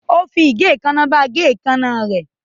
Ó fi igè èékánná bá a gé èékánná rẹ̀.